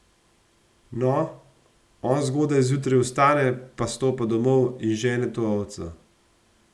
No, on zgodaj zjutraj vstane pa stopa domov in žene to ovco.